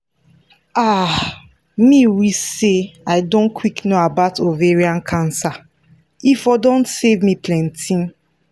ah me wish say i don quick know about ovarian cancer e for don save me plenty